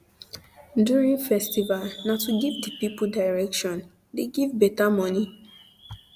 um during festival na to um the give pipul um direction de give beta moni